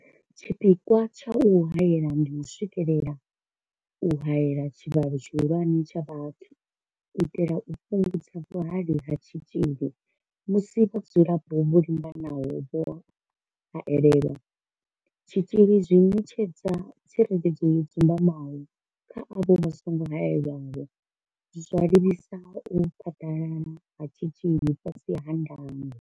Tshipikwa tsha u haela ndi u swikelela u haela tshivhalo tshihulwane tsha vhathu u itela u fhungudza vhuhali ha tshitzhili musi vhadzulapo vho linganaho vho haelelwa tshitzhili zwi ṋetshedza tsireledzo yo dzumbamaho kha avho vha songo haelwaho, zwa livhisa u phaḓalala ha tshitzhili fhasi ha ndango.